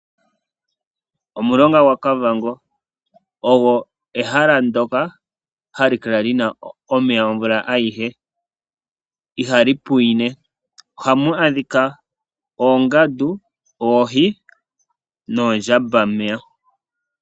Omulonga gwaKavango Ogwo ehala ndyoka hali kala li na omeya omvula ayihe. Ihali pwine. Ohamu adhika oongandu, oohi noondjambameya.